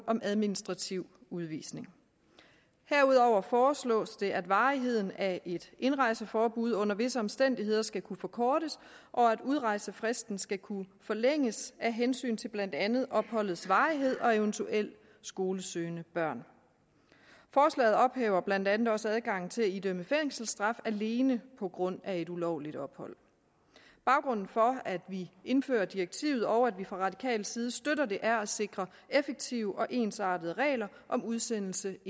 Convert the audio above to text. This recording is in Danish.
om administrativ udvisning herudover foreslås det at varigheden af et indrejseforbud under visse omstændigheder skal kunne forkortes og at udrejsefristen skal kunne forlænges af hensyn til blandt andet opholdets varighed og eventuelt skolesøgende børn forslaget ophæver blandt andet også adgangen til at idømme fængselsstraf alene på grund af et ulovligt ophold baggrunden for at vi indfører direktivet og at vi fra radikal side støtter det er for at sikre effektive og ensartede regler om udsendelse